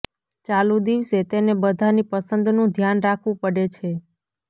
ચાલુ દિવસે તેને બધાની પસંદનું ધ્યાન રાખવું પડે છે